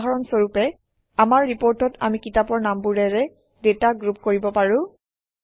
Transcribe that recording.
উদাহৰণ স্বৰূপে আমাৰ ৰিপৰ্টত আমি কিতাপৰ নামবোৰেৰে ডাটা গ্ৰুপ কৰিব পাৰোঁ